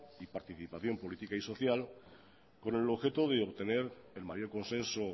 y participación política y social con el objeto de obtener el mayor consenso